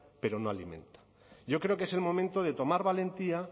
pero no alimenta yo creo que es el momento de tomar valentía